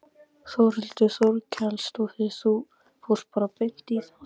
Þórhildur Þorkelsdóttir: Þú fórst bara beint í það?